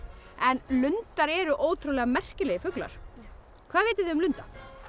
en lundar eru ótrúlega merkilegir fuglar hvað vitið þið um lunda